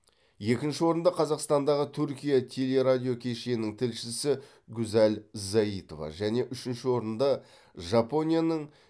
екінші орынды қазақстандағы түркия телерадиокешенінің тілшісі гузаль заитова және үшінші орынды жапонияның